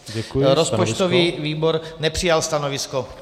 Rozpočtový výbor nepřijal stanovisko.